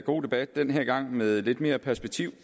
god debat den her gang med lidt mere perspektiv